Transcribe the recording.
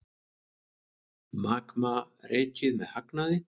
Magma rekið með hagnaði